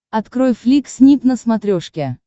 открой флик снип на смотрешке